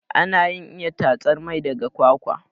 Anayin iya tatsar mai daga kwakwa